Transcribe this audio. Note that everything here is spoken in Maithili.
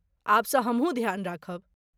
आब सँ हमहूँ ध्यान राखब।